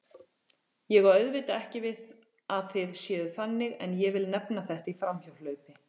Ég á auðvitað ekki við að þið séuð þannig en vil nefna þetta í framhjáhlaupi.